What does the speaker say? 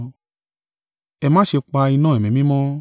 Ẹ má ṣe pa iná Ẹ̀mí Mímọ́.